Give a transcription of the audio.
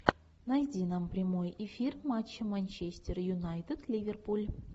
найди нам прямой эфир матча манчестер юнайтед ливерпуль